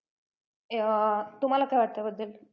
अं तुम्हाला काय वाटतं याबद्दल?